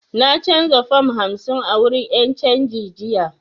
Na canza fam hamsin a wurin 'yan canji jiya